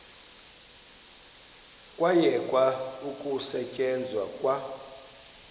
kwayekwa ukusetyenzwa kwa